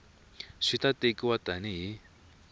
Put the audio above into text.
swi ta tekiwa tani hi